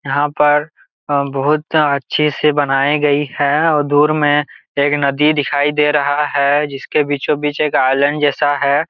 यहाँ पर बहुत अच्छे से बनाए गई है और दुर मे एक नदी दिखाई दे रहा है जिसके बीचों बीच मे एक आइलैंड जैसा है।